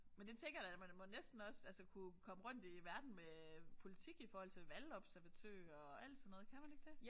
Men det tænker jeg da man må næsten også altså kunne komme rundt i verden med politik i forhold til valgobservatører og alt sådan noget kan man ikke det